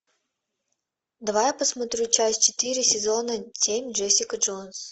давай я посмотрю часть четыре сезона семь джессика джонс